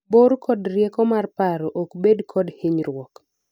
bor kod rieko mar paro ok bed kod hinyruok